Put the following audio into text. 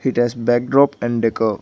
It has backdrop and decor.